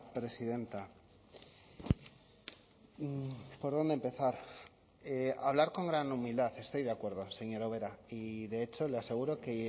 presidenta por dónde empezar hablar con gran humildad estoy de acuerdo señora ubera y de hecho le aseguro que